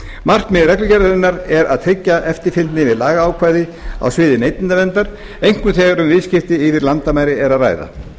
markmið reglugerðarinnar er að tryggja eftirfylgni við lagaákvæði á sviði neytendaverndar einkum þegar um viðskipti yfir landamæri er að ræða